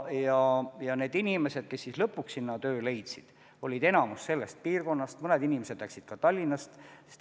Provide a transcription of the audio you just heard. Ja need inimesed, kes lõpuks seal töö leidsid, olid enamikus sellest piirkonnast, mõned inimesed aga läksid sellega seoses Tallinnast ära.